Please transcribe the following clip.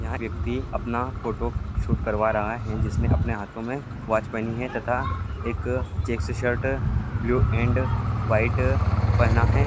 यह व्यक्ति अपना फोटोशूट करवा रहा है जिसने अपने हाथो में वोच पहनी है तथा एक checks shirt blue and white पहना है।